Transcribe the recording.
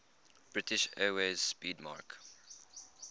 british airways 'speedmarque